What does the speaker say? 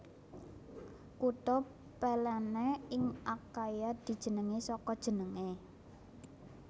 Kutha Pellene ing Akhaia dijenengi saka jenengé